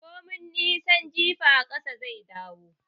Komin nisan jifa ƙasa zai dawo